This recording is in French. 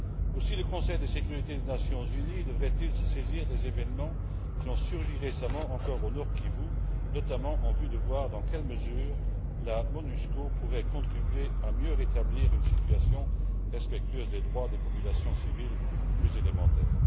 Aussi, le Conseil de sécurité des Nations unies devrait il se saisir des événements qui se sont produits récemment encore au Nord Kivu, notamment pour déterminer dans quelle mesure la Monusco pourrait contribuer à mieux rétablir une situation respectueuse des droits des populations civiles les plus élémentaires.